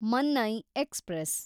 Mannai express